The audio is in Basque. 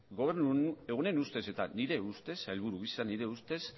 gobernu honen ustez eta nire ustez sailburu gisa nire ustez